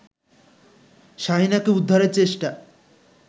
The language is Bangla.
শাহীনাকে উদ্ধারের চেষ্টা